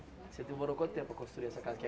Você demorou quanto tempo para construir essa casa aqui?